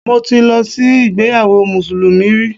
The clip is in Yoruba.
Mo ti lọ sí ìgbéyawó mùsùlùmí rí